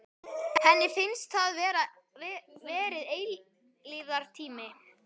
Henni finnst það hafa verið eilífðartími.